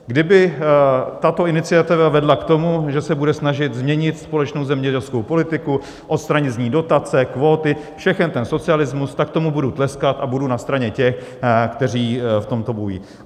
Kdyby tato iniciativa vedla k tomu, že se bude snažit změnit společnou zemědělskou politiku, odstranit z ní dotace, kvóty, všechen ten socialismus, tak tomu budu tleskat a budu na straně těch, kteří v tomto lobbují.